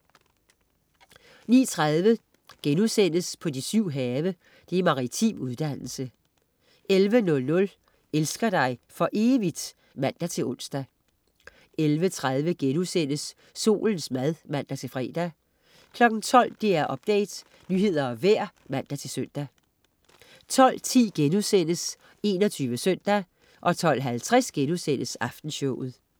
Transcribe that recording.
10.30 På de syv have. Maritim uddannelse* 11.00 Elsker dig for evigt? (man-ons) 11.30 Solens mad* (man-fre) 12.00 DR Update. Nyheder og vejr (man-søn) 12.10 21 Søndag* 12.50 Aftenshowet*